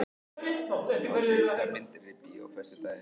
Ásfríður, hvaða myndir eru í bíó á föstudaginn?